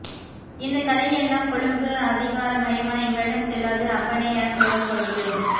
இந்தக்கதையெல்லாம் கொழும்பு அதிகார மையமான எங்களிடம் செல்லாது அப்பனே எனக்கூறும் கொழும்பு